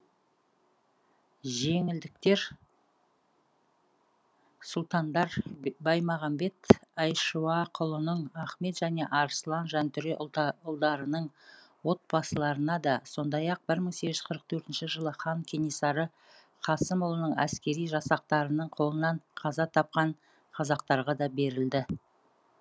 жеңілдіктер сұлтандар баймағамбет айшуақұлының ахмет және арыслан жантөре ұлдарының отбасыларына да сондай ақ бір мың сегіз жүз қырық төртінші жылы хан кенесары қасымұлының әскери жасақтарының қолынан қаза тапқан қазақтарға да берілді